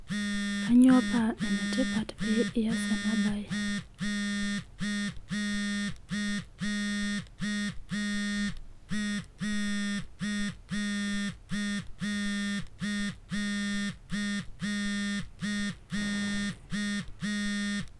Kainyio paa enetipat pee eyas ena mbae